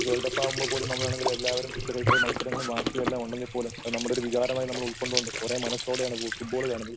World cup ആവുമ്പൊ പോലും നമ്മൾ ആണെങ്കില് എല്ലാവരും ചെറിയ ചെറിയ മത്സരങ്ങളും വാശി എല്ലാം ഉണ്ടെങ്കിൽപോലും അത് നമ്മുടെ ഒരു വികാരമായി ഉൾക്കൊണ്ടുകൊണ്ട് ഒരേ മനസ്സോടെയാണ് ഫുട്ബാൾ കാണുന്നത്.